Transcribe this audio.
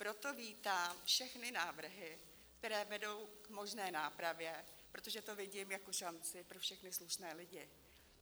Proto vítám všechny návrhy, které vedou k možné nápravě, protože to vidím jako šanci pro všechny slušné lidi.